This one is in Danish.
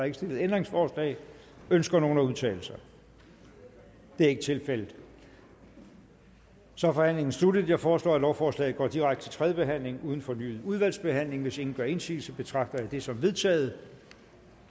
ikke stillet ændringsforslag ønsker nogen at udtale sig det er ikke tilfældet så er forhandlingen sluttet jeg foreslår at lovforslaget går direkte til tredje behandling uden fornyet udvalgsbehandling hvis ingen gør indsigelse betragter jeg det som vedtaget